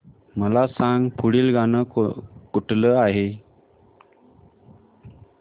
मला सांग पुढील गाणं कुठलं आहे